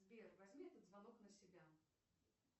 сбер возьми этот звонок на себя